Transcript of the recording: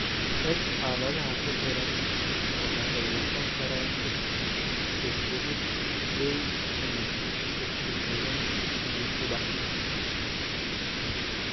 X xaaladaha ku xidhan waxa ay noqon karaan X-ku xidhid weyn ama X-ku xidhan dib u dhac.